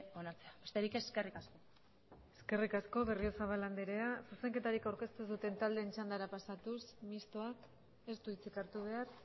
onartzea besterik ez eskerrik asko eskerrik asko berriozabal andrea zuzenketarik aurkeztu ez duten taldeen txandara pasatuz mistoak ez du hitzik hartu behar